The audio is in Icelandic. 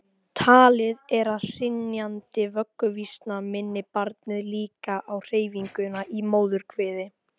Talið er að hrynjandi vögguvísna minni barnið líka á hreyfinguna í móðurkviði.